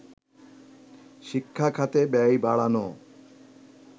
শিক্ষা খাতে ব্যয় বাড়ানো